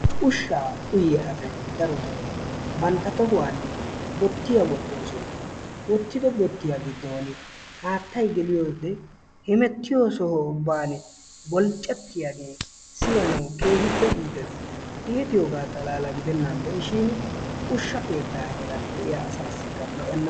Ushshaa uyiyaa asay darotoo bantta tohuwaani boottiyaa wottoosona. Woottido boottiyaa giddon haattay geliyoode hemettiyoo soho ubbaani bolccatiyaagee siyanawu keehippe iitees. Itiyoogaa xalaalaa gidennan de'ishiin ushsha keettaa keettaa heeran de'iyaa asaasikka lo"enna.